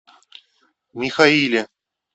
михаиле